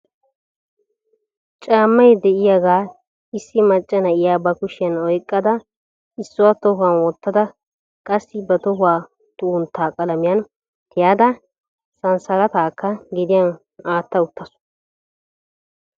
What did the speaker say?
Caammay de'yaga issi macca na'iya ba kushiyan oyqada issuwa tohuwan wottada qassi ba tohuwa xuggunttaa qalamiyan tiyada sansalattaakka gediyan atta uttaasu.